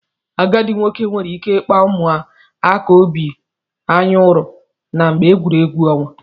Agadi nwoke nwere ike ikpa ụmụaka obi anyụri na mgbe egwuregwu onwa.